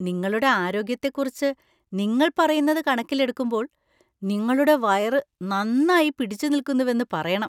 നിങ്ങളുടെ ആരോഗ്യത്തെക്കുറിച്ച് നിങ്ങൾ പറയുന്നത് കണക്കിലെടുക്കുമ്പോൾ നിങ്ങളുടെ വയറ് നന്നായി പിടിച്ചുനിൽക്കുന്നുവെന്ന് പറയണം.